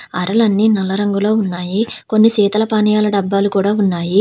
అరలన్నీ నల్ల రంగులో ఉన్నాయి. కొన్ని శీతల పానీయాల డబ్బాలు కూడా ఉన్నాయి.